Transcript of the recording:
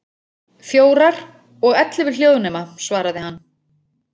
Fjórar, og ellefu hljóðnema, svaraði hann.